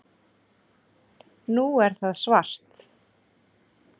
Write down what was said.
Nú er það svart